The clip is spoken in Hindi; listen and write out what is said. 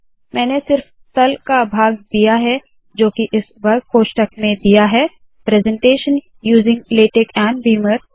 मैंने सिर्फ तल का भाग दिया है जोकि इस वर्ग कोष्ठक में दिया है presentation using LaTeX and Beamer